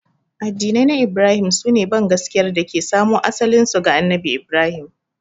Addinai na Ibrahim su ne bangaskiyar da ke samo asalinsu ga Annabi Ibrahim.